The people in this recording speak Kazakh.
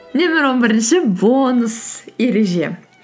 нөмір он бірінші бонус ереже